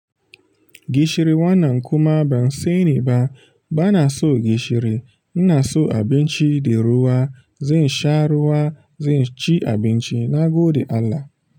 Gishiri wannan kuma ban sani ba, bana so gishiri. Ina son abinci da ruwa. Zan sha ruwa, zan ci abinci, na gode Allah.